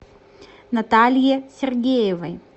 наталье сергеевой